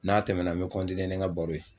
N'a tɛmɛna, n bɛ nin ka baro ye.